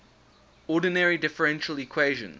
ordinary differential equations